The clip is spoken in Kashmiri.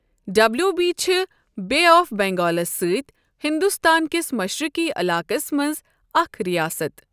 ڈبلیو بی چھِ بے آف بنگالَس سۭتۍ ہندوستان کِس مشرقی علاقَس منٛز اکھ رِیاسَت۔